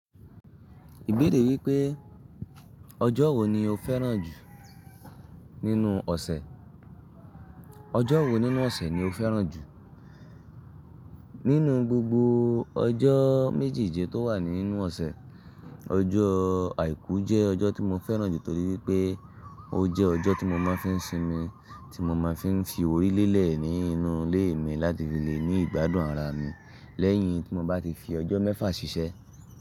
Ìbéèrè wípé ọjọ́ wo ni o fẹ́ràn jù nínú ọ̀sẹ̀, ọjọ́ wo nínú ọ̀sẹ̀ ni o fẹ́ràn jù? Nínú gbogbo ọjọ́ méjèèje tó wà nínú ọ̀sẹ̀, ọjọ́ àìkú jẹ́ ọjọ́ tí mo fẹ́ràn jù torí pé ó jẹ́ ọjọ́ tí mo máa fi ń sinmi, tí mo máa fi ń fi orí lélẹ̀ nínú ilé mi láti fi le ní ìgbádùn ara mi lẹ́yìn tí mo bá ti fi ọjọ́ mẹ́fà ṣiṣẹ́